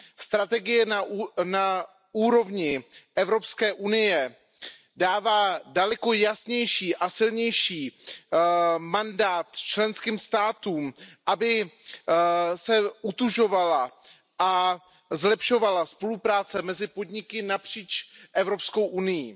Strategie na úrovni Evropské unie dává daleko jasnější a silnější mandát členským státům, aby se utužovala a zlepšovala spolupráce mezi podniky napříč Evropskou unií.